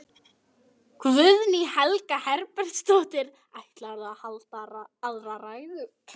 Guðný Helga Herbertsdóttir: Ætlarðu að halda aðra ræðu?